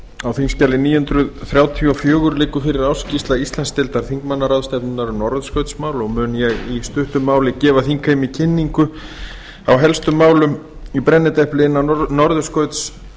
á þingskjali níu hundruð þrjátíu og fjögur liggur fyrir ársskýrsla íslandsdeildar þingmannaráðstefnunnar um norðurskautsmál og mun ég í stuttu máli gefa þingheimi kynningu á helstu málum í brennidepli